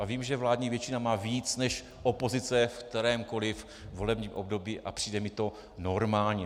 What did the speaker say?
A vím, že vládní většina má víc než opozice ve kterémkoli volebním období, a přijde mi to normální.